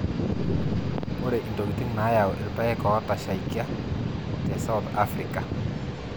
ore intokitin naayau irpaek ootashaikia te south africa.